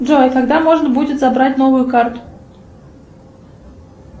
джой когда можно будет забрать новую карту